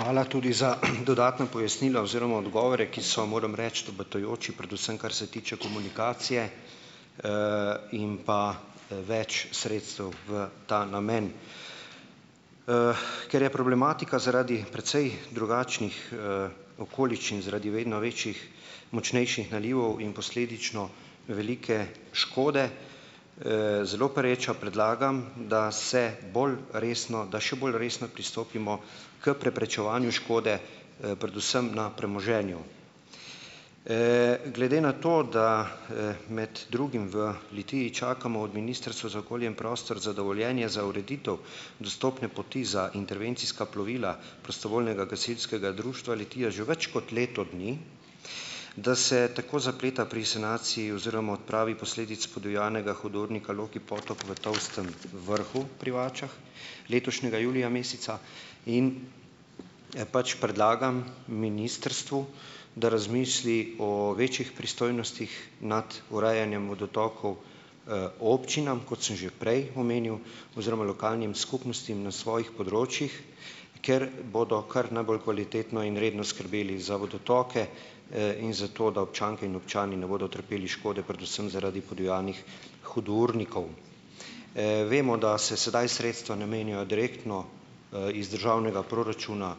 Hvala tudi za dodatno pojasnilo oziroma odgovore, ki so, moram reči, obetajoči, predvsem kar se tiče komunikacije, in pa, več sredstev v ta namen. ker je problematika zaradi precej drugačnih, okoliščin, zaradi vedno večjih, močnejših nalivov in posledično velike škode, zelo pereča, predlagam, da se bolj resno, da še bolj resno pristopimo k preprečevanju škode, predvsem na premoženju. glede na to, da, med drugim v Litiji čakamo od Ministrstva za okolje in prostor za dovoljenje za ureditev dostopne poti za intervencijska plovila prostovoljnega gasilskega društva Litija že več kot leto dni, da se tako zapleta pri sanaciji oziroma odpravi posledic podivjanega hudournika Loki potok v Tolstem vrhu pri Vačah, letošnjega julija meseca in, pač, predlagam ministrstvu, da razmisli o večjih pristojnostih nad urejanjem vodotokov, občinam, kot sem že prej omenil, oziroma lokalnim skupnostim na svojih področjih, ker bodo kar najbolj kvalitetno in redno skrbeli za vodotoke, in za to, da občanke in občani ne bodo trpeli škode, predvsem zaradi podivjanih hudournikov. Vemo, da se sedaj sredstva namenijo direktno, iz državnega proračuna,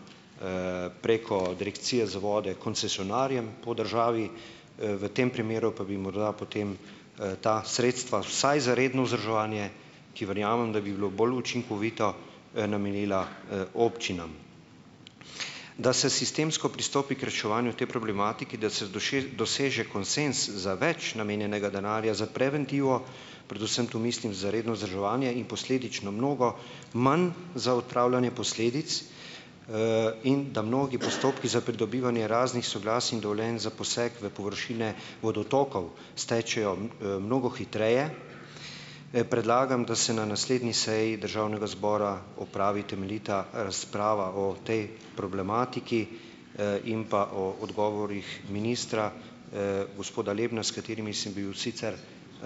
preko direkcije za vode koncesionarjem po državi, v tem primeru pa bi morda potem, ta sredstva vsaj za redno vzdrževanje, ki verjamem, da bi bilo bolj učinkovito, namenila, občinam. Da se sistemsko pristopi k reševanju te problematike, da se doseže konsenz za več namenjenega denarja za preventivo, predvsem tu mislim za redno vzdrževanje in posledično mnogo manj za odpravljanje posledic, in da mnogi postopki za pridobivanje raznih soglasij in dovoljenj za poseg v površine vodotokov stečejo mnogo hitreje, predlagam, da se na naslednji seji državnega zbora opravi temeljita razprava o tej problematiki, in pa o odgovorih ministra, gospoda Lebna, s katerimi sem bil sicer,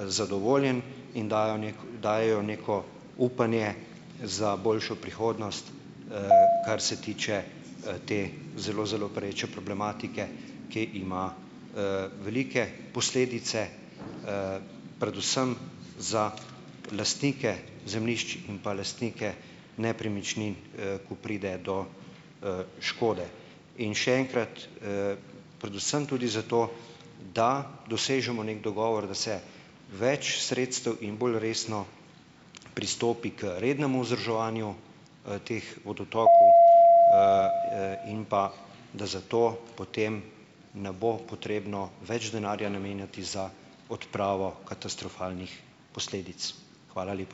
zadovoljen in dajejo neki, dajejo neko upanje za boljšo prihodnost, kar se tiče, te zelo, zelo pereče problematike, ki ima, velike posledice, predvsem za lastnike zemljišč in pa lastnike nepremičnin, ko pride do, škode. In še enkrat, predvsem tudi zato, da dosežemo neki dogovor, da se več sredstev in bolj resno pristopi k rednemu vzdrževanju, teh vodotokov, in pa da zato, potem, ne bo potrebno več denarja namenjati za odpravo katastrofalnih posledic. Hvala lepa.